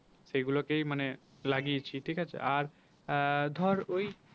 সেই গুলকেই মানে লাগিয়েছি ঠিক আছে আর আহ ধর ওই